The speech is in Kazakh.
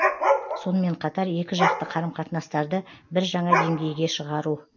сонымен қатар екі жақты қарым қатынастарды бір жаңа деңгейге шығару